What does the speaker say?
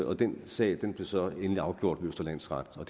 og den sag blev så endelig afgjort ved østre landsret og